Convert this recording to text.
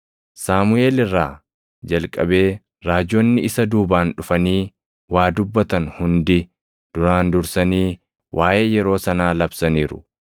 “Saamuʼeel irraa jalqabee raajonni isa duubaan dhufanii waa dubbatan hundi duraan dursanii waaʼee yeroo sanaa labsaniiru.